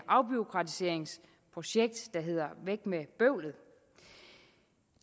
afbureaukratiseringsprojekt der hedder væk med bøvlet